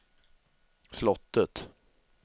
slottet